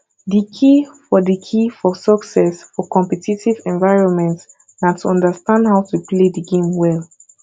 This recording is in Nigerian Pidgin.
di key for di key for success for competitive environments na to understand how to play di game well